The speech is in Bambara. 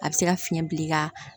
A bɛ se ka fiɲɛ bil'i ka